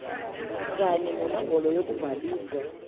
kanya nenombholo yokubhaliswa